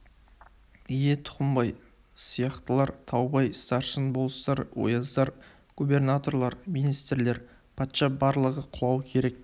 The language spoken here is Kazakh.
ие тұқымбай сияқтылар таубай старшын болыстар ояздар губернаторлар министрлер патша барлығы құлауы керек